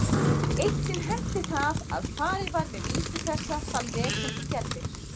Eitt sinn henti það að farið var með vísu þessa þann veg sem þú gerðir.